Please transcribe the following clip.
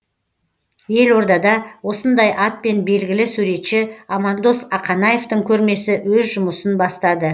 елордада осындай атпен белгілі суретші амандос ақанаевтың көрмесі өз жұмысын бастады